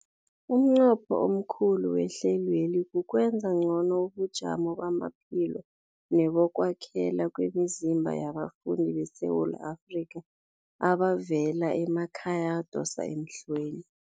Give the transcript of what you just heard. Umnqopho omkhulu wehlelweli kukwenza ngcono ubujamo bamaphilo nebokwakhela kwemizimba yabafundi beSewula Afrika abavela emakhaya adosa emhlweni.